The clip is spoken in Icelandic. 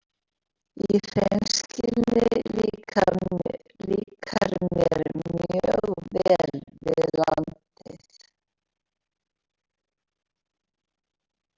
Í hreinskilni líkar mér mjög vel við landið.